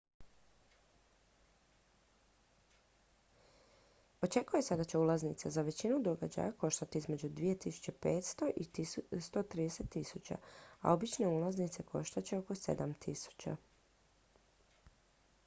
očekuje se da će ulaznice za većinu događaja koštati između 2.500 ¥ i 130.000 ¥ a obične ulaznice koštat će oko 7.000 ¥